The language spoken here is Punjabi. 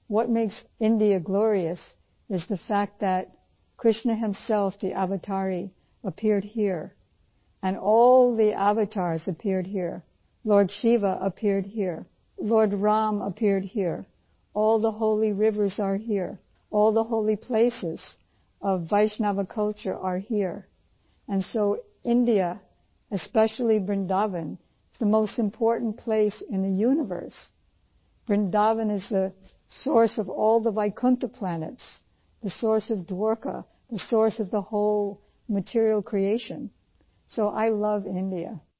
what makes India glorious is the fact that Krishna himself the avatari appeared here and all the avatars appeared here lord Shiva appeared here lord Rama appeared here all the holy rivers are here all the holy places of Vaishnava culture are here and so India especially Vrindavan is the most important place in the universe Vrindavan is the source of all the Vaikuntha planets the source of Dwarka the source of the whole material creation so I love India